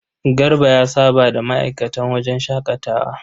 Garba ya saba da ma'aikatan wajen shaƙatawa.